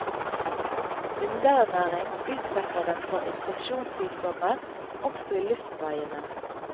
Underernæring utsetter dem for infeksjonssykdommer, også i luftveiene.